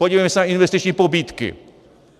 Podívejme se na investiční pobídky.